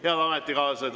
Head ametikaaslased!